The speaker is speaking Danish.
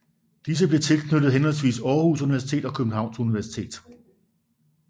Disse blev tilknyttet henholdsvis Aarhus Universitet og Københavns Universitet